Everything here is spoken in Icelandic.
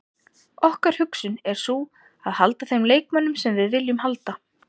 Okkar hugsun er sú að halda þeim leikmönnum sem við viljum halda.